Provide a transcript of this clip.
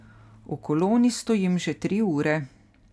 V koloni stojim že tri ure.